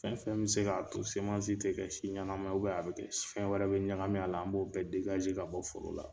Fɛn fɛn bɛ se ka to semansi tɛ kɛ si ɲanama ye a bɛ kɛ fɛn wɛrɛ bɛ ɲagamin a la an b'o bɛɛ ka bɔ foro la.